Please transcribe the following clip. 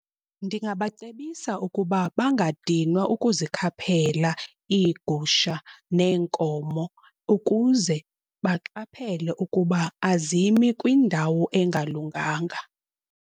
Ndingabacebisa ukuba bangadinwa ukuzikhaphela iigusha neenkomo ukuze baqaphele ukuba azimi kwindawo engalunganga.